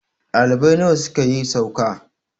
ɗalibai nawa ne suka yi sauka?